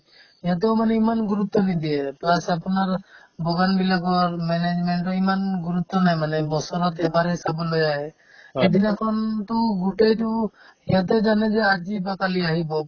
সিহঁতেও মানে ইমান গুৰুত্ৱ নিদিয়ে plus আপোনাৰ বিলাকৰ management তো ইমান গুৰুত্ৱ নাই মানে বছৰত এবাৰহে চাবলৈ আহে সেইদিনাখনতো গোটেইতো সিহঁতে যেনেকে আজি বা কালি আহিব